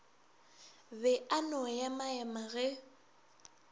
be a no emaema ge